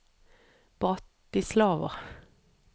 Bratislava